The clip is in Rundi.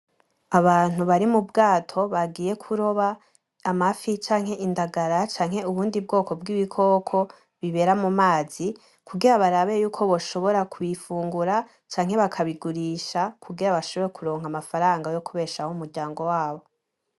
Abantu bari mu bwato bagiye kuroba amafi canke indagara canke ubundi bwoko bw'ibikoko bibera mu mazi kugira barabe yuko boshobora kubifungura canke bakabigurisha kugira bashobore kuronka amafaranga yo kubeshaho umuryango wabo.